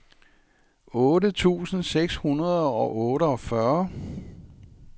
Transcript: otte tusind seks hundrede og otteogfyrre